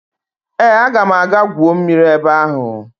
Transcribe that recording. Ee, aga m aga gwuo mmiri ebe ahụ